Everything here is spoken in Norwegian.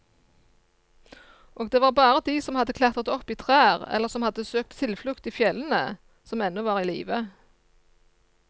Og det var bare de som hadde klatret opp i trær eller som hadde søkt tilflukt i fjellene, som ennå var i live.